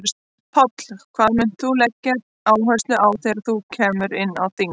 Páll: Hvað munt þú leggja áherslu á þegar þú kemur inn á þing?